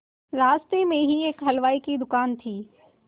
रास्ते में ही एक हलवाई की दुकान थी